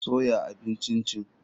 Soya abin Chin chin.